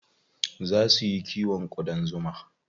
Zaa su yi kiwon ƙudan zuma.